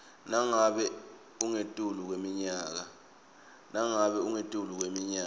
nangabe ungetulu kweminyaka